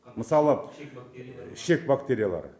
мысалы ішек бактериялары